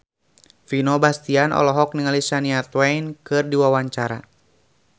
Vino Bastian olohok ningali Shania Twain keur diwawancara